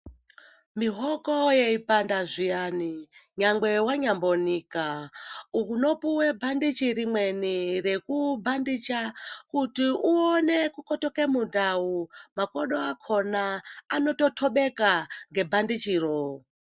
Mihoko yei panda zviyani nyangwe wanyambo nika uno puwe bhandichi rimweni reku bhandicha kuti uone ku petuke mundau makodo akona anoto tobeka nge bhandichi roo.